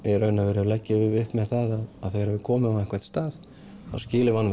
í raun og verum leggjum við upp með það að þegar við komum á einhvern stað þá skiljum við